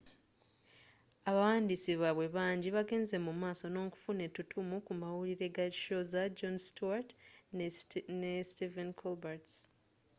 abawandiis baabwe banji bagenze mumaaso nookufuna ettuttumu ku mawulire ga show za jon stewart ne stephen colbert's